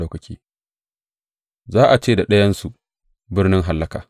Za a ce da ɗayansu Birnin Hallaka.